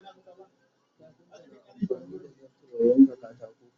kafinta na amfani da zarto ya yanka katako